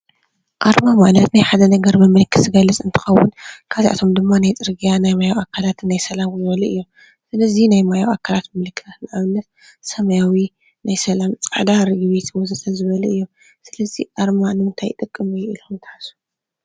ኣርማ ማለት መፍለይ ሓደ ትካል እንትኸውን ንአብነት ናይ ትካል ማሕተም ከምኡ እውን ፃዕዳ ርግቢት ናይ ሰላም ወዘተ